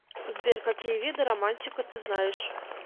сбер какие виды романтика ты знаешь